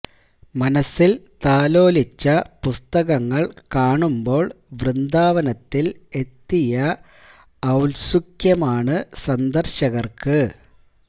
മനസ്സിൽ താലോലിച്ച പുസ്തകങ്ങൾ കാണുമ്പോൾ വൃന്ദാവനത്തിൽ എത്തിയ ഔൽസുക്യമാണ് സന്ദർശകർക്ക്്്